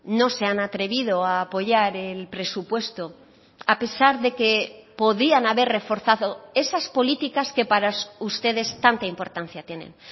no se han atrevido a apoyar el presupuesto a pesar de que podían haber reforzado esas políticas que para ustedes tanta importancia tienen